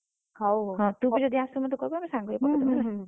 ହଉ ହଉ ।